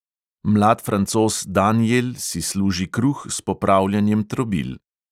Mlad francoz daniel si služi kruh s popravljanjem trobil.